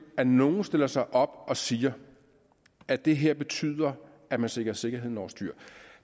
at nogle stiller sig op og siger at det her betyder at man sætter sikkerheden over styr